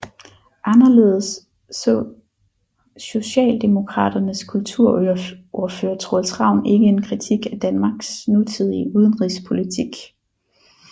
Anderledes så Socialdemokraternes kulturordfører Troels Ravn ikke en kritik af Danmarks nutidige udenrigspolitik